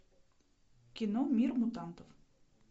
кино мир мутантов